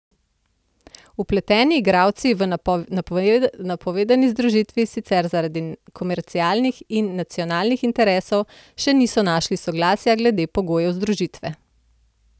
Vpleteni igralci v napovedani združitvi sicer zaradi komercialnih in nacionalnih interesov še niso našli soglasja glede pogojev združitve.